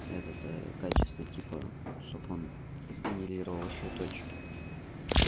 это то качество типа чтоб он сгенерировал ещё точки